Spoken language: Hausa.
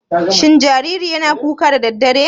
Shin jaririn yana kuka da daddare?